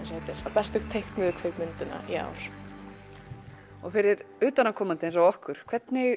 bestu teiknuðu kvikmyndina í ár og fyrir utanaðkomandi eins og okkur hvernig